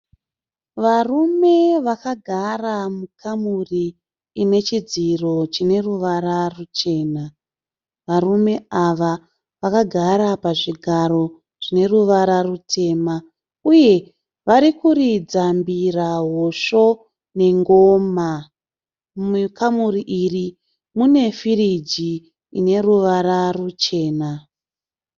Varume vakagara mukamuri inechidziro chineruvara ruchena. Varume ava vakagara pazvigaro zvineruvara rutema. Uye varikuridza mbira, hosho nengoma. Mukamuri iri munefiriji ineruvara ruchena.